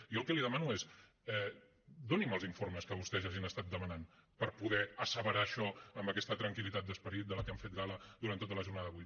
jo el que li demano és doni’m els informes que vostès ja hagin estat demanant per poder asseverar això amb aquesta tranquil·litat d’esperit de la que han fet gala durant tota la jornada d’avui